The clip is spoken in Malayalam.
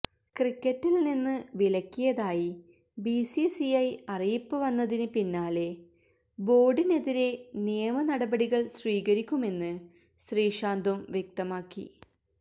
ക്രിക്കറ്റില് നിന്ന് വിലക്കിയതായി ബിസിസിഐ അറിയിപ്പ് വന്നതിന് പിന്നാലെ ബോര്ഡിനെതിരെ നിയമ നടപടികള് സ്വീകരിക്കുമെന്ന് ശ്രീശാന്തും വ്യക്തമാക്കി